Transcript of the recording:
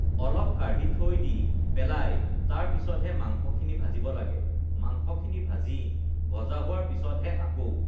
অলপ কাঢ়ি থৈ দি পেলাই তাৰ পিছতহে মাংসখিনি ভাজিব লাগে মাংসখিনি ভাজি ভজা হোৱাৰ পিছতহে আকৌ